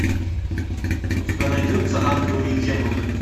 у тебя найдется ангелы и демоны